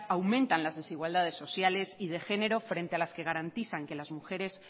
aumentan las desigualdades sociales y de género frente a las que garantizan que las mujeres